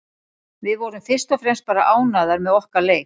Við vorum fyrst og fremst bara ánægðar með okkar leik.